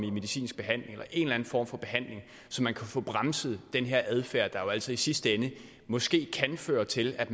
i medicinsk behandling eller en eller en form for behandling så man kan få bremset den her adfærd der jo altså i sidste ende måske kan føre til at